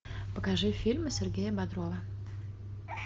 покажи фильмы сергея бодрова